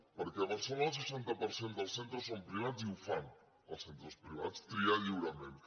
perquè a barcelona el seixanta per cent dels centres són privats i ho fan els centres privats triar lliurement